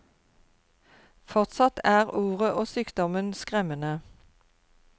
Fortsatt er ordet og sykdommen skremmende.